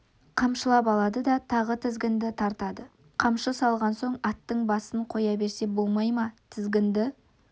қамшылап алады да тағы тізгінді тартады қамшы салған соң аттың басын қоя берсе болмай ма тізгінді